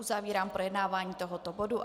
Uzavírám projednávání tohoto bodu.